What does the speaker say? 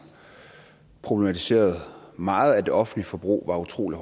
problematiserede meget at det offentlige forbrug var utrolig